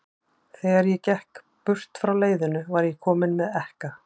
Þegar ég gekk burt frá leiðinu, var ég kominn með ekka.